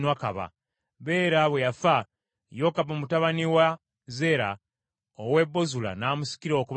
Bera bwe yafa, Yokabu mutabani wa Zeera ow’e Bozula n’amusikira okuba kabaka.